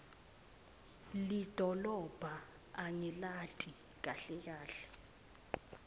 lidolobha angilati kahle kahle